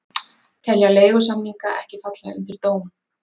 Telja leigusamninga ekki falla undir dóm